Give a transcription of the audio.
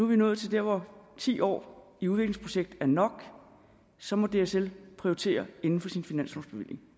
vi nået til der hvor ti år i udviklingsprojektet er nok og så må dsl prioritere inden for sin finanslovsbevilling